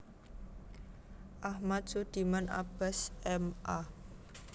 Ahmad Sudiman Abbas M A